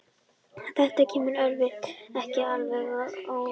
Þetta kemur erfðafræðingum ekki alveg á óvart.